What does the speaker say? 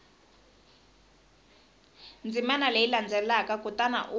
ndzimana leyi landzelaka kutani u